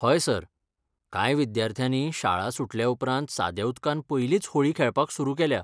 हय सर, कांय विद्यार्थ्यांनी शाळा सुटल्या उपरांत साद्या उदकान पयलींच होळी खेळपाक सुरू केल्या.